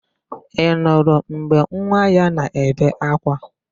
Ị nụrụ mgbe nwa ya na-ebe ákwá?